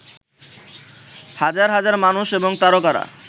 হাজার হাজার মানুষ এবং তারকারা